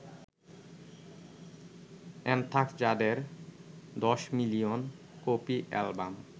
anthrax যাদের ১০ million copy album